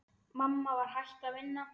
Mamma var hætt að vinna.